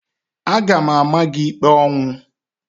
Aga m ama gị ikpe ọnwụ!